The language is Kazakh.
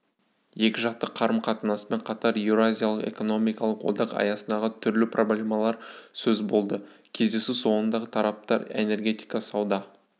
екіжақты қарым-қатынаспен қатар еуразиялық экономикалық одақ аясындағы түрлі проблемалар сөз болды кездесу соңындағы тараптар энергетика сауда